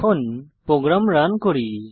এখন program run করি